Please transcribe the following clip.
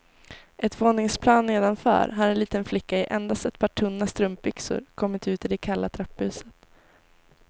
Ett våningsplan nedanför har en liten flicka i endast ett par tunna strumpbyxor kommit ut i det kalla trapphuset.